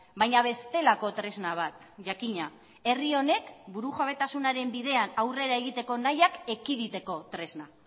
baina bestelako tresna bat jakina herri honek burujabetasunaren bidean aurrera egiteko nahiak ekiditeko tresna